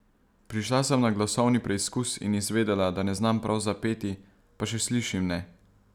Prišla sem na glasovni preizkus in izvedela, da ne znam prav zapeti, pa še slišim ne.